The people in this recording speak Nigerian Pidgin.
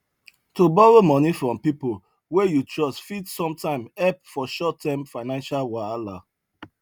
to borrow moni from people wey you trust fit sometime help for short time financial wahala